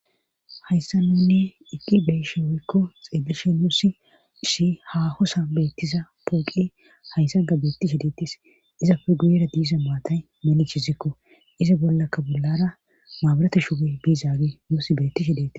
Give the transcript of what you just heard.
hayssa nunne iqqi beeshe woykko xeeleshe nuosi ishi ha hosa beettiza pooqe hayssa ga beetti shideettis izapfe guyera diiza maatay monichizikko iza bollakka bollara maabarate shuge biizaage nussi beetti shideti